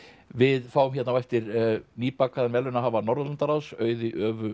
við fáum hérna á eftir verðlaunahafa Norðurlandaráðs Auði